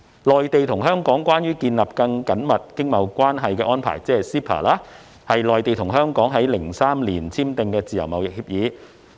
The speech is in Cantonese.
《內地與香港關於建立更緊密經貿關係的安排》是內地與香港於2003年簽訂的自由貿易協議。